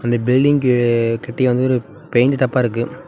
அந்த பில்டிங்கு கிட்டயே வந்து ஒரு பெயிண்ட் டப்பா இருக்கு.